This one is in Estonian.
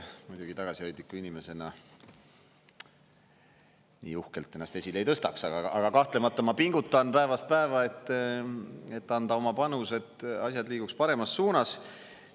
Ma ise muidugi tagasihoidliku inimesena nii uhkelt ennast esile ei tõstaks, aga kahtlemata ma pingutan päevast päeva, et anda oma panus, et asjad liiguks paremas suunas.